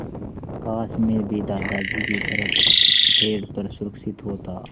काश मैं भी दादाजी की तरह पेड़ पर सुरक्षित होता